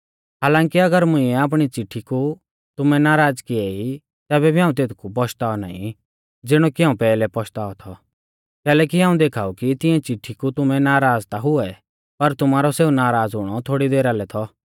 हालांकि अगर मुंइऐ आपणी चिट्ठी कु तुमैं नाराज़ किऐ ई तैबै भी हाऊं तेथकु पश्ताऔ नाईं ज़िणौ कि हाऊं पैहलै पश्तावा थौ कैलैकि हाऊं देखाऊ कि तिऐं चिट्ठी कु तुमैं नाराज़ ता हुऐ पर तुमारौ सेऊ नाराज़ हुणौ थोड़ी देरा लै थौ